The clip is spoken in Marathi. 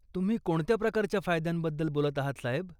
तुम्ही कोणत्या प्रकारच्या फायद्यांबद्दल बोलत आहात, साहेब?